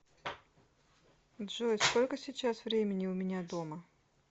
джой сколько сейчас времени у меня дома